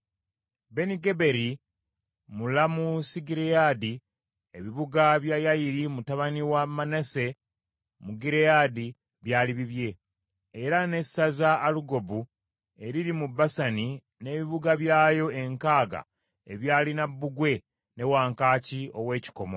Benigeberi, mu Lamosugireyaadi, ebibuga bya Yayiri mutabani wa Manase mu Gireyaadi byali bibye, era n’essaza Alugobu eriri mu Basani n’ebibuga byayo enkaaga ebyalina bbugwe ne wankaaki ow’ekikomo;